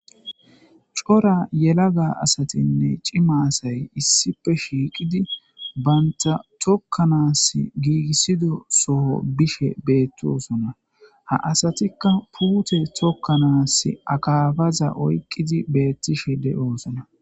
Cora yela ga asatinne cimasay issipe shiiqidi baynta tokkanaas giigissido soho bishe beettosona ha asatikka puute tokkanaas akaabaza oyqqidi beettishe de7oosona.